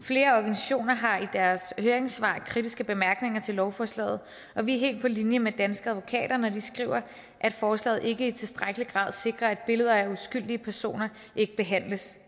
flere organisationer har i deres høringssvar kritiske bemærkninger til lovforslaget og vi er helt på linje med danske advokater når de skriver at forslaget ikke i tilstrækkelig grad sikrer at billeder af uskyldige personer ikke behandles